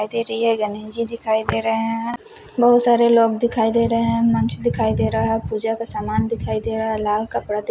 दिखाई दे रही है गणेश जी दिखाई दे रहे हैं बहोत सारे लोग दिखाई दे रहे हैं मंच दिखाई दे रहा है पूजा का सामान दिखाई दे रहा है लाल कपड़ा दी--